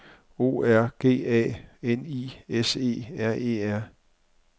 O R G A N I S E R E R